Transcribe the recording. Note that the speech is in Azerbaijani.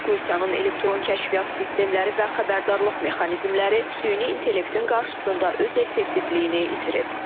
Rusiyanın elektron kəşfiyyat sistemləri və xəbərdarlıq mexanizmləri süni intellektin qarşısında öz effektivliyini itirib.